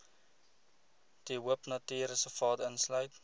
de hoopnatuurreservaat insluit